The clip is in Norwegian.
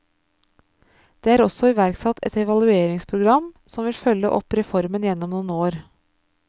Det er også iverksatt et evalueringsprogram som vil følge opp reformen gjennom noen år.